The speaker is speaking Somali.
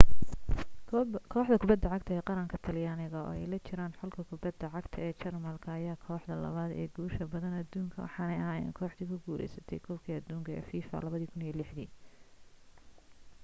kooxda kubbadda cagta qaran talyaaniga oo ay la jiraan xulka kubadda cagta ee jarmalka ayaa ah kooxda labaad ee guusha badan adduuna waxaanay ahaayeen kooxdii ku guuleysatay koobkii adduunka ee fifa 2006 dii